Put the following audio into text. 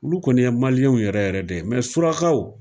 Olu kɔni ye maliyɛnw yɛrɛ yɛrɛ deye surakaw